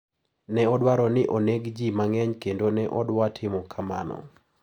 Ne odwaro ni oneg ji mang`eny kendo ne odwa timo kamano.